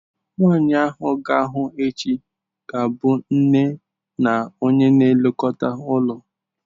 Nwanyị anyị ga-ahụ echi ga-abụ nne na onye na-elekọta ụlọ.